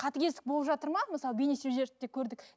қатыгездік болып жатыр ма мысалы бейне көрдік